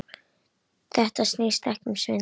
Þetta snýst ekki um svindl.